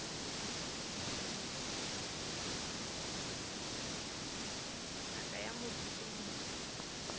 ngaka ya motho ke motho